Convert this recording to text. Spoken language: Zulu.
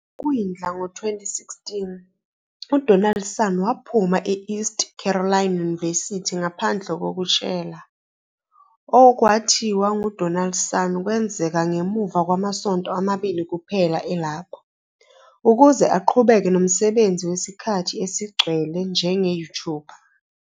Ekwindla ngo-2016, uDonaldson waphuma e- East Carolina University ngaphandle kokutshela, okwathiwa nguDonaldson kwenzeka ngemuva kwamasonto amabili kuphela elapho, ukuze aqhubeke nomsebenzi wesikhathi esigcwele njenge-YouTuber.